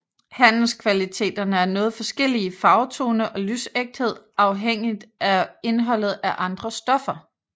Handelskvaliteterne er noget forskellige i farvetone og lysægthed afhængigt af indholdet af andre stoffer